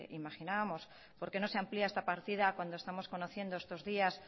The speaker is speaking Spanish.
imaginábamos por qué no se amplia esta partida cuando estamos conociendo estos días